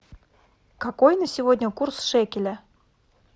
какой на сегодня курс шекеля